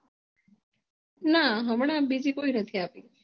ના હમણાં બીજી કોઈ નાથી આપી